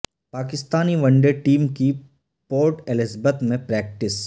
Pakistani one day team کی Port Elizabeth میں practice